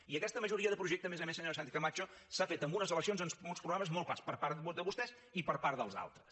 i aquesta majoria de projecte a més a més senyora sánchezcamacho s’ha fet en unes eleccions amb uns programes molt clars per part de vostès i per part dels altres